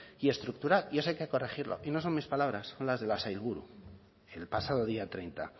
y estructural y eso hay que corregirlo y no son mis palabras son las de la sailburu el pasado día treinta